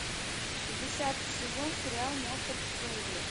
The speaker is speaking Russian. десятый сезон сериал моцарт в джунглях